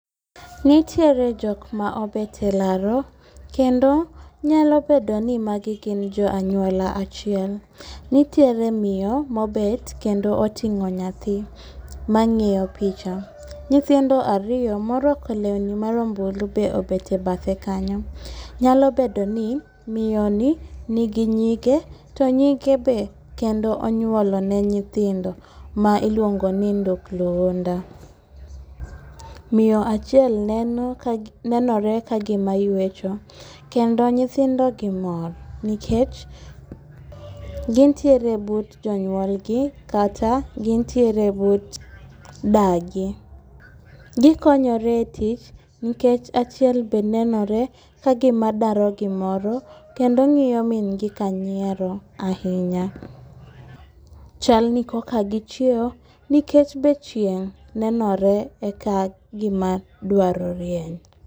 Nitiere jok ma obete laro, kendo nyalo bedo ni magi gin jo anwola achiel. Nitiere miyo mobet kendo oting'o nyathi ma ng'iyo picha. Nyithindo ariyo morwako lewni marombulu be obete bathe kanyo, nyalo bedo ni miyo ni nigi nyige to nyige be kendo onyuolo ne nyithindo ma iluongo ni ndukluunda. Miyo achiel neno kagi nenore ka gima ywecho, kendo nyithindo gi mor nikech gintiere but jonyuolgi, kata gintiere but dagi. Gikonyore e tich nikech achiel be nenore ka gima daro gimoro kendo ng'iyo min gi ka nyiero ahinya. Chal ni koka gichiewo nikech be chieng' nenore e ka gima dwaro rieny.